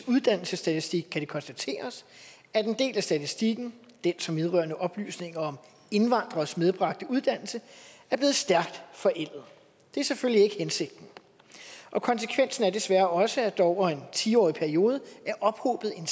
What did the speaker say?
uddannelsesstatistik kan det konstateres at en del af statistikken den som vedrører oplysninger om indvandreres medbragte uddannelse er blevet stærkt forældet det er selvfølgelig ikke hensigten og konsekvensen er desværre også at der over en ti årig periode er ophobet en